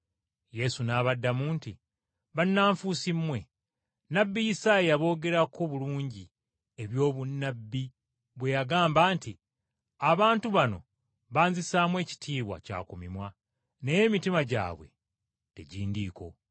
Yesu n’abaddamu nti, “Bannanfuusi mmwe! Nnabbi Isaaya yaboogerako bulungi ebyobunnabbi bwe yagamba nti, “ ‘Abantu bano banzisaamu ekitiibwa kya ku mimwa, naye emitima gyabwe tegindiiko.